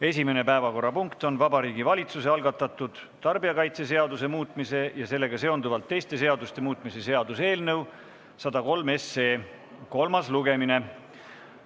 Esimene päevakorrapunkt on Vabariigi Valitsuse algatatud tarbijakaitseseaduse muutmise ja sellega seonduvalt teiste seaduste muutmise seaduse eelnõu 103 kolmas lugemine.